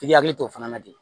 I hakili to o fana na ten